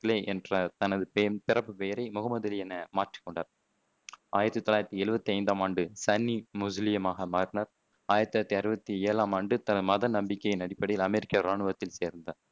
Clay என்ற தனது பிறப்பு பெயரை முகம்மது அலி என மாற்றிக் கொண்டார். ஆயிரத்தி தொள்ளாயிரத்தி எழுவத்தி ஐந்தாம் ஆண்டு சன்னி முஸ்லிமாக மாறினார். ஆயிரத்தி தொள்ளாயிரத்தி அறுவத்தி ஏழாம் ஆண்டு தன் மத நம்பிக்கையின் அடிப்படையில் அமெரிக்க இராணுவத்தில் சேர்ந்தார்